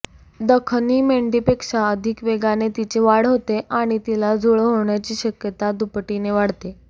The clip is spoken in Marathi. दखनी मेंढीपेक्षा अधिक वेगाने तिची वाढ होते आणि तिला जुळं होण्याची शक्यता दुपटीने वाढते